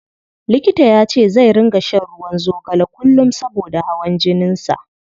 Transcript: Likita yace zai ringa shan ruwan zogale kullum saboda hawan jinin sa.